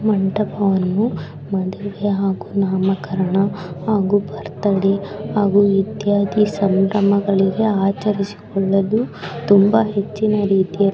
ಮಂಟಪ ವನ್ನು ಮದುವೆ ಹಾಗೂ ನಾಮಕರಣ ಹಾಗೂ ಬರ್ತ್ಡೇ ಇತ್ಯಾದಿ ಸಂಭ್ರಮಗಳಿಗೆ ಆಚರಿಸಿಕೊಳ್ಳಲು ತುಂಬಾ ಹೆಚ್ಚಿನ ರೀತಿಯಲ್ಲಿ --